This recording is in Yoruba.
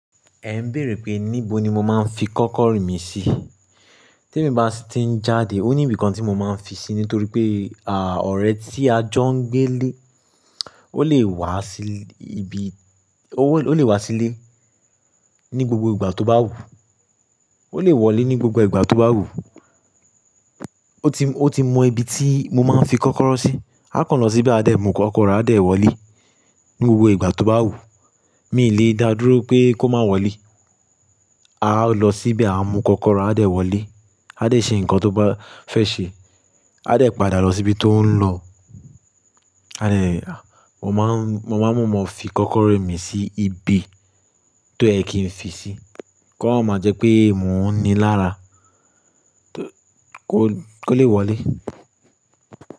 Ẹ ń bèèrè pé níbo ni mo máa ń fi kọ́kọ́rọ́ mi sí. Tí èmi bá sì ti ń jáde, ó ní ibìkan tí mo máa ń fi sí, nítorí pé, à, ọ̀rẹ́ tí a jọ ń gbé lé, ó lè wá sí ibi, ó lè wá sílé ní gbogbo ìgbà tó bá wù. Ó lè wọlé ní gbogbo ìgbà tó bá wùú. Ó ti mọ ibi tí mo máa ń fi kọ́kọ́rọ́ sí. A kàn lọ síbe a dẹ̀ mú kọ́kọ́rọ́, a dẹ̀ wọlé ní gbogbo ìgbà tó bá wù. Mi lè dá dúró pé kó má wọlé. A lọ síbe a mú kọ́kọ́rọ́, a dẹ̀ wọlé, a dẹ̀ ṣe nǹkan tó bá fẹ́ ṣe, a dẹ̀ padà lọ síbi tó ń lọ. A dẹ̀, mo máa ń, mo máa ń maa mọ fi kọ́kọ́rọ́ mi sí ibi tó yẹ kí n fi sí. Ko máma jẹ́ pé mò ń ni lára tó, kó, kó lè wọlé.